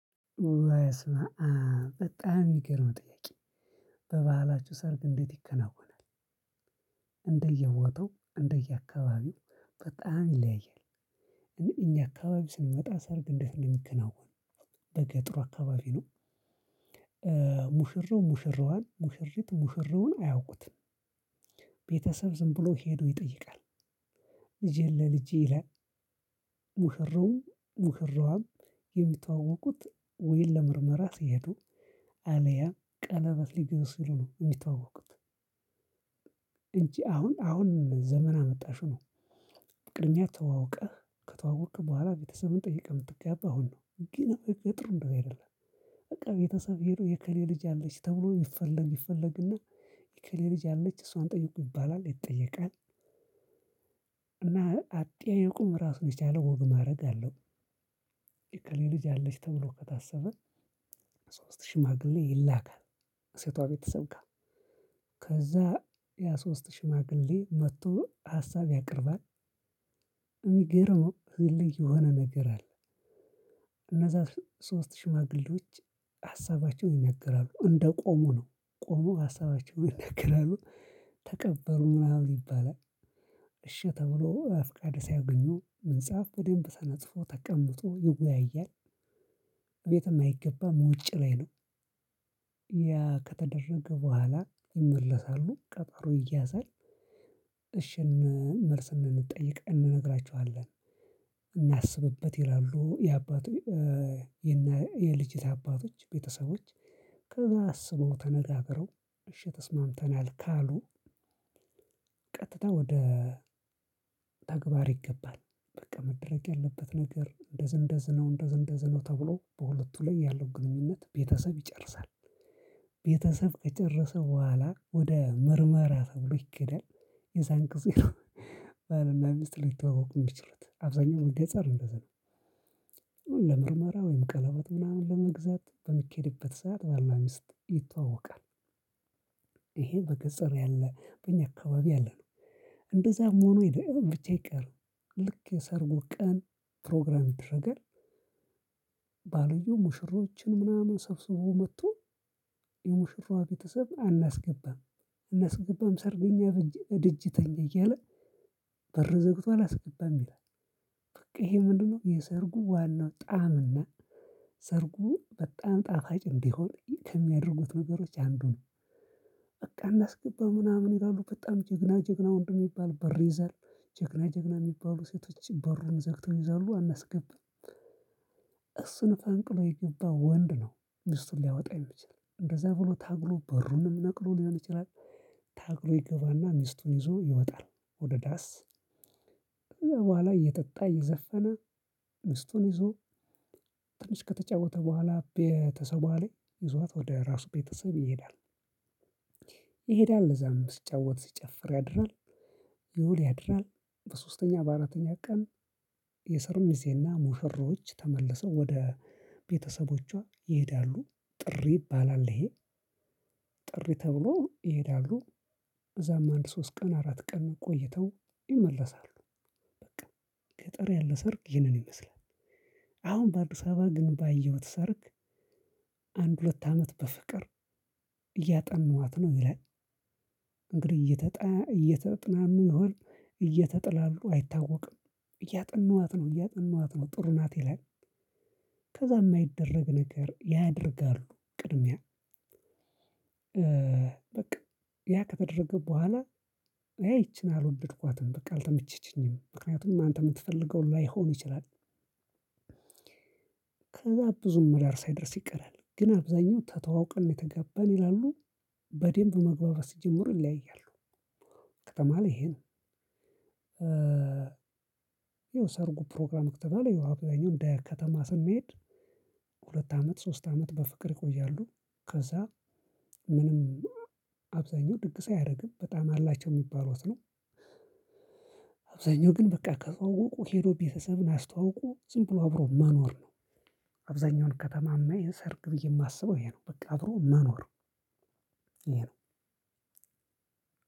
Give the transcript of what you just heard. በጣም የምገርም ጥያቄ በባህላችሁ ሰርግ እንዴት ይከናወናል? እንደየ ቦታው እንደየ አካባቢው በጣም ይለያያል። እኛ አካባቢ ስንመጣ ሰርግ እንዴት እንደ ሚከናወን በገጠሩ አካባቢ ነው። ሙሽረው ሙሽረዋን ሙሽሪት ሙሽረውን አያውቁትም። ቤተሰብ ዝም ብሎ ሄዶ ይጠይቃል። ልጅህን ለ ልጄ ይላል። ሙሸረውም ሙሽራዋም የሚተዋወቁት ወይም ለምርመራ ሲሄዱ አለያም ቀለበት ሊገዙ ሲሉ ነው የሚተዋወቁት። እንጂ አሁን አሁን ዘመን አመጣሹ ነው። ቀ ቅድሚያ ተዋውቀህ ከተዋወክ በኋላ ቤተሰብን ጠይቀህ የምትገባው አሁን ነው ግን በገጠሩ እንደዚህ አይደለም። በቃ ቤተሰብ ሄዶ የኤከሌ ልጅ አለች ተብሎ ይፈለግ ይፈለግ እና የኤከሌ ልጅ አለች እሷን ጠይቁ ይባላል ይጠየቃል። እና አጠያያቁም ራሱን የቻለ ወግ ማዕረግ አለው። የኤከሌ ልጅ አለች ተብሎ ከታሰበ ሶስት ሽማግሌ ይላካል። ሴቷ ቤተሰብ ጋር ከዛ ያ ሶስት ሽማግሌ መጥቶ ሀሳብ ያቀርባል። የሚገርመው ባህል ላይ የሆነ ነገር አለ። እነዛ ሶስት ሽማግሌዎች ሀሳባቸውን ይናገራሉ እንደቆሙ ነው ቆመው ሀሳባቸውን ይናገራሉ። ተቀበሩ ምናምን ይባላል። እሺ ተብሎ ፍቃድ ሳያገኙ ምንጣፍ በደንብ ተነጥፎ ተቀምጦ ይወያያል። በቤትም አይገባም ውጭ ላይ ነው። ያ ከተደረገ በኋላ ይመለሳሉ ቀጠሮ ይያዛል። እሺም መልስ እንድንጠይቅ እንነግራችኋለን። እናስብበት ይላሉ የአባቱ የና የልጅቷ አባቶች ቤተሰቦች ከዛ አስበው ተነጋግረው እሺ ተስማምተናል ካሉ። ቀጥታ ወደ ተግባር ይገባል። በቃ መደረግ ያለበት ነገር እንደዝ እንደዝነው እንደዝ እንደዝነው ተብሎ በሁለቱ ላይ ያለው ግንኙነት ቤተሰብ ይጨርሳል። ቤተሰብ ከጨረሰ በኋላ ወደ ምርመራ ተብሎ ይኬዳል። የዛን ጊዜ ነው ባልና ሚስት ሊተዋወቁ የሚችሉት አብዛኛው ገጠር እንደዛ ነው። ለምርመራ ወይም ቀለበት ምናምን ለመግዛት በሚኬድበት ሰዓት በል እና ሚስት ይተዋወቃል። ይሄ በገጠር ያለ በእኛ አካባቢ ያለነው እንደዛም ሆኖ የደ ብቻ ይቀር። ልክ የሰርጉ ቀን ፕሮግራም ይደረጋል። ባልየው ሙሽሮችን ምናምን ሰብስቦ መጥቶ የሙሽራዋ ቤተሰብ አናስገባም። አናስገባም ሰርገኛ እደጅ ተኛ እያለ በር ዘግቶ አላስገባም ይላል። በቃ ይሄ ምንድነው? የሰርጉ ዋናው ጣዕም ነው። ሰርጉ በጣም ጣፋጭ እንዲሆን ከሚያደርጉት ነገሮች አንዱ ነው። በቃ አናስገባው ምናምን ይላሉ በጣም ጀግና ጀግና ወንድ የሚባል በር ይይዛል። ጀግና ጀግና የሚባሉ ሴቶች በሩን ዘግተው ይይዛሉ አናስገብም። እሱን ፈንቅሎ የገባ ወንድ ነው። ሚስቱን ሊያወጣ የምችል እንደዛ ብሎ ታግሎ በሩንም ነቅሎ ሊሆን ይችላል። ታግሎ ይገባና ሚስቱን ይዞ ይወጣል። ወደ ዳስ ያው በኋላ እየጠጣ እየዘፈነ ሚስቱን ይዞ ትንሽ ከተጫወተ በኋላ ከቤተሰቧ ላይ ይዟት ወደ ራሱ ቤተሰብ ይሄዳል። ይሄዳል እዛም ስጫወት ሲጨፍር ያድራል። ይውል ያድራል። በሶስተኛ በአራተኛ ቀን የሰርጉ ሚዜና ሙሽሮች ተመልሰው ወደ ቤተሰቦቿ ይሄዳሉ ጥሪ ይባላል ይሄ ጥሪ ተብሎ ይሄዳሉ። እዛም አንድ ሶስት ቀን አራት ቀን ቆይተው ይመለሳሉ። በቃ ገጠር ያለ ሰርግ ይህንን ይመስላል። አሁን በአዲስ አበባ ግን ባየሁት ሰርግ አንድ ሁለት አመት በፍቅር እያጠናኋት ነው ይላል። እንግዲህ እየተጣ እየተጠናኑ ይሆን እየተጥላሉ አይታወቅም። እያጠናኋት ነው እያጠናኋት ነው ጥሩ ናት ይላል። ከዛ የማይደረግ ነገር ያደርጋሉ ቅድሚያ በቃ ያ ከተደረገ በኋላ አይ ይቺን አልወደድኳትም በቃ አልተመቸችኝም ምክንያቱም አንተ የምትፈልገው ላይሆን ይችላል። ከዛ ብዙም ዳር ሳይደርስ ይቀራል ግን አብዛኛው ተተዋውቀን ነው የተጋባን ይላሉ። በደንብ መግባባት ሲጀምሩ ይለያያሉ። ከተማ ላይ ይሄ ነው። ይኸው ሰርጉ ፕሮግራም ከተባል ይኸው አብዛኛው እንደ ከተማ ስንሄድ። ሁለት አመት ሶስት አመት በፍቅር ይቆያሉ። ከዛ ምንም አብዛኛው ድግስ አያደርግም በጣም አላቸው የሚባሉት ነው። አብዛኛው ግን በቃ ከተዋወቁ ሄዶ ቤተሰብን አስተዋውቆ ዝም ብሎ አብሮ መኖር ነው። አብዛኛውን ከተማ የማየው ይሄን ሰርግ ብዬ የማስበው ይሄ ነው በቃ አብሮ መኖር ነው። ይሄ ነው።